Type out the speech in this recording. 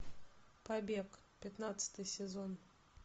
побег пятнадцатый сезон